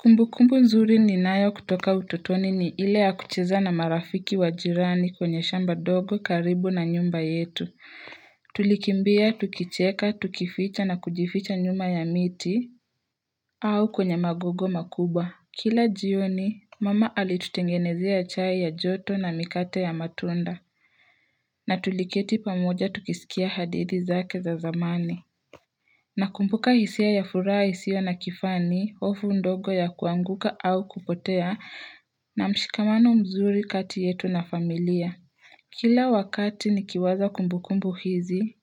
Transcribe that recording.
Kumbukumbu nzuri ninayo kutoka ututoni ni hile ya kucheza na marafiki wa jirani kwenye shamba ndogo karibu na nyumba yetu. Tulikimbia, tukicheka, tukificha na kujificha nyuma ya miti. Au kwenye magogo makubwa. Kila jioni, mama alitutengenezea chai ya joto na mikate ya matunda. Na tuliketi pamoja tukisikia hadithi zake za zamani. Nakumbuka hisia ya furaha isiyo na kifani, hofu ndogo ya kuanguka au kupotea na mshikamano mzuri kati yetu na familia. Kila wakati nikiwaza kumbukumbu hizi,